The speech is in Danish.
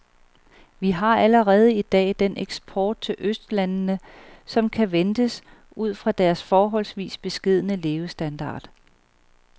Vi har allerede i dag den eksport til østlandene, som kan ventes ud fra deres forholdsvis beskedne levestandard.